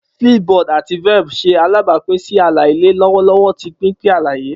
Flipboard ati Velp ṣe alabapin si ala-ilẹ lọwọlọwọ ti pinpin alaye.